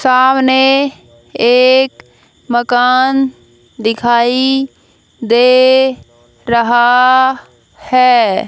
सामने एक मकान दिखाई दे रहा है।